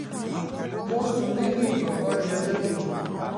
mo sùn nílùú igangan di ọjọ́ kejì ni